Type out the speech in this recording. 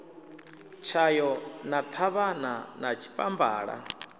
tshayo na ṱhavhana na tshipambala